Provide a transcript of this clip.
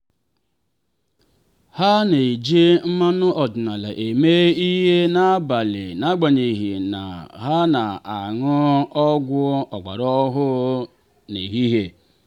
ha na-eji mmanụ ọdịnala eme ihe n'abalị n'agbanyeghị na ha na-aṅụ ọgwụ ọgbara ọhụrụ n'ehihie.